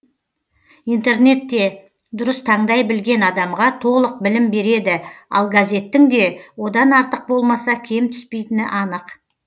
интернет те дұрыс таңдай білген адамға толық білім береді ал газеттің де одан артық болмаса кем түспейтіні анық